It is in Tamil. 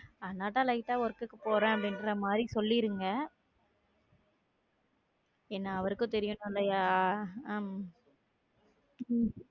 அதனால lite ஆ work க்கு போறேன் அப்படின்ற மாதிரி சொல்லியிருந்தேன் என்னா அவருக்கும் தெரியனும்லயா? ஹம் உம்